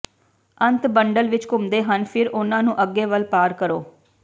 ਅੰਤ ਬੰਡਲ ਵਿਚ ਘੁੰਮਦੇ ਹਨ ਫਿਰ ਉਨ੍ਹਾਂ ਨੂੰ ਅੱਗੇ ਵੱਲ ਪਾਰ ਕਰੋ